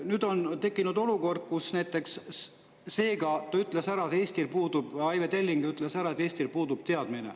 Nüüd on tekkinud olukord, nagu Aive Telling ütles, kus Eestil puudub teadmine.